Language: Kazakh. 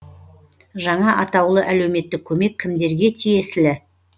жаңа атаулы әлеуметтік көмек кімдерге тиесілі